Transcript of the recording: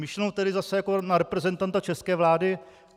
Myšleno tedy zase jako na reprezentanta české vlády?